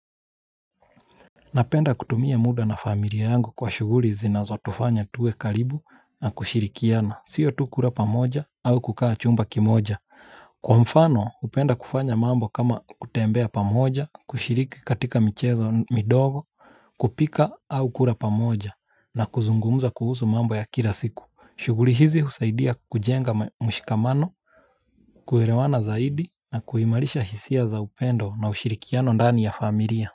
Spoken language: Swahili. Napenda kutumia muda na familia yangu kwa shughuli zinazo tufanya tuwe karibu na kushirikiana. Sio tu kura pamoja au kukaa chumba kimoja. Kwa mfano hupenda kufanya mambo kama kutembea pamoja, kushiriki katika michezo midogo, kupika au kura pamoja na kuzungumza kuhusu mambo ya kila siku. Shughuli hizi husaidia kujenga mshikamano, kuelewana zaidi na kuimarisha hisia za upendo na ushirikiano dani ya familia.